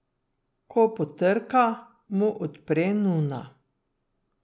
Ko potrka, mu odpre nuna.